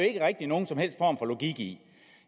ikke rigtig nogen som helst form for logik i